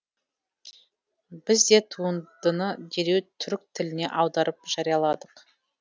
біз де туындыны дереу түрік тіліне аударып жарияладық